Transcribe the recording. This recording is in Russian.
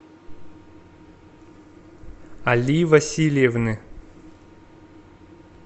али васильевны